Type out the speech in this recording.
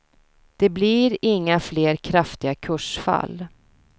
Det blir inga fler kraftiga kursfall.